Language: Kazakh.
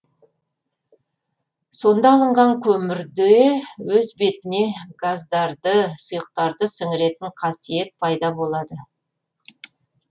сонда алынған көмірде өз бетіне газдарды сұйықтарды сіңіретін қасиет пайда болады